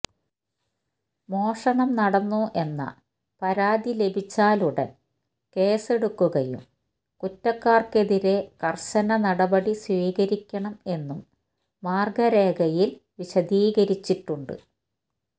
മോഷണം നടന്നു എന്ന പരാതി ലഭിച്ചാൽ ഉടൻ കേസെടുക്കുകയും കുറ്റക്കാർക്കാർക്കെതിരെ കർശന നടപടി സ്വീകരിക്കണം എന്നും മാർഗ്ഗ രേഖയിൽ വിശദീകരിച്ചിട്ടുണ്ട്